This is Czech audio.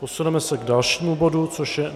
Posuneme se k dalšímu bodu, což je